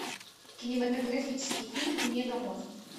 кинематографический фильм мега мост